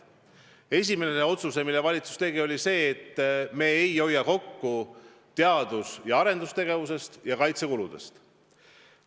Esimene otsus, mille valitsus tegi, oli see, et me ei hoia kokku teadus- ja arendustegevuse ning kaitsekulude pealt.